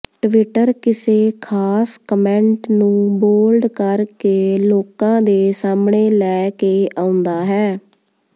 Twitter ਕਿਸੇ ਖ਼ਾਸ comment ਨੂੰ ਬੋਲਡ ਕਰ ਕੇ ਲੋਕਾਂ ਦੇ ਸਾਹਮਣੇ ਲੈ ਕੇ ਆਉਂਦਾ ਹੈ